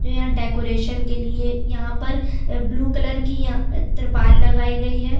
तो यहाँ डेकोरेशन के लिए यहाँ पर अ ब्लू कलर की यहाँ त्रिपाल लगाई गई हैं।